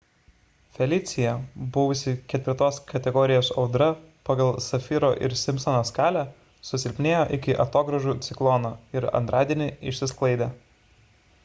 felicija buvusi 4 kategorijos audra pagal safiro ir simpsono skalę susilpnėjo iki atogražų ciklono ir antradienį išsisklaidė